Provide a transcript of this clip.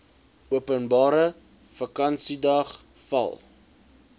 openbare vakansiedag val